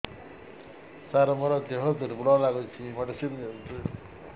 ସାର ମୋର ଦେହ ଦୁର୍ବଳ ଲାଗୁଚି ମେଡିସିନ ଦିଅନ୍ତୁ